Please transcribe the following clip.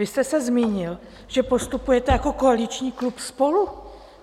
Vy jste se zmínil, že postupujete jako koaliční klub SPOLU.